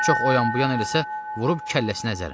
Çox oyan-buyan eləsə, vurub kəlləsinə əzərəm.